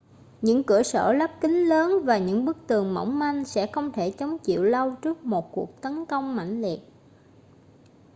những cửa sổ lắp kính lớn và những bức tường mỏng manh sẽ không thể chống chịu lâu trước một cuộc tấn công mãnh liệt